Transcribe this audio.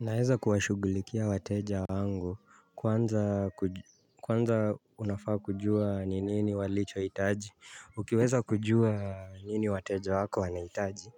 Unaweza kuwashugulikia wateja wangu kwanza unafaa kujua ni nini walicho hitaji Ukiweza kujua nini wateja wako wana hitaji